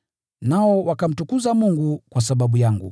Nao wakamtukuza Mungu kwa sababu yangu.